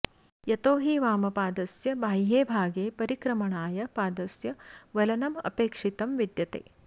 यतो हि वामपादस्य बाह्ये भागे परिक्रमणाय पादस्य वलनमपेक्षितं विद्यते